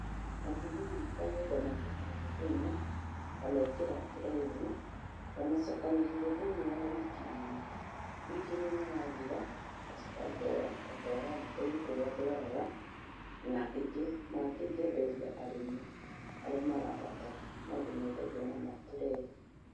Matumbĩ makwa nyũnganagia o mũthenya, ngamekĩra turee-inĩ. Ngamacokanĩrĩria thĩinĩ wa wiki ng'ima. Wiki ng'ima yathira ngacoka ngoya ngatwara nduka-ini kũrĩa ndwaraga, na mangĩ ngenderia arĩmi arĩa marabatara no ndĩmendagaia na maturee.